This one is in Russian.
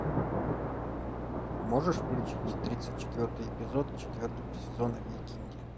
можешь включить тридцать четвертый эпизод четвертого сезона викинги